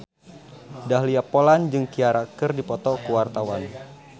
Dahlia Poland jeung Ciara keur dipoto ku wartawan